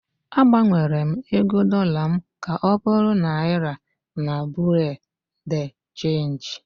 Agbanwere m ego dollar m ka ọ bụrụ Naira na Bureau de Change